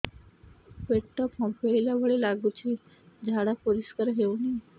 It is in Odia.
ପେଟ ଫମ୍ପେଇଲା ଭଳି ଲାଗୁଛି ଝାଡା ପରିସ୍କାର ହେଉନି